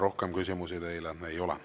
Rohkem küsimusi teile ei ole.